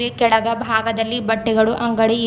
ಈ ಕೆಳಗ ಭಾಗದಲ್ಲಿ ಬಟ್ಟೆಗಳು ಅಂಗಡಿ ಇದ್--